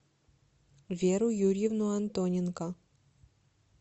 веру юрьевну антоненко